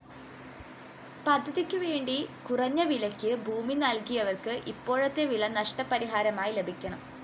പദ്ധതിക്കുവേണ്ടി കുറഞ്ഞവിലയ്ക്ക് ഭൂമി നല്‍കിയവര്‍ക്ക് ഇപ്പോഴത്തെ വില നഷ്ടപരിഹാരമായി ലഭിക്കണം